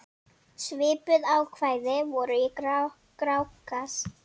Svipuð ákvæði voru í Grágás.